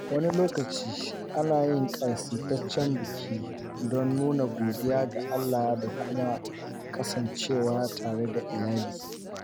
Wani lokaci, ana yin ƙasaitaccen biki, don nuna godiya ga Allah da kuma kasancewa tare da iyali.